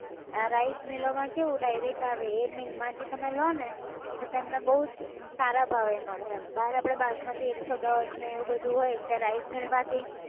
આ rice mill ઓ માં કેવું direct આવે એ mill માંથી તમે લો ને તો તમને બઉ જ અમ સારા ભાવે મળે એમ, બહાર આપણે બાસમતી એકસોદસ ને એવું બધું હોય ત્યાં rice mill માં થી